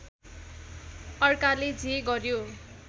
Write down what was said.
अर्काले जे गर्‍यो